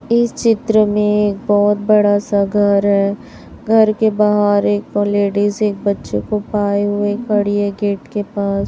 इस चित्र में बहोत बड़ा सा घर है घर के बाहर एक लेडिज एक बच्चों को पाए हुए खड़ी है गेट के पास।